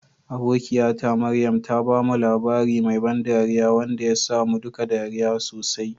Abokiyata Maryam ta bamu labari mai ban dariya wanda ya sa mu duka ɗariya sosai.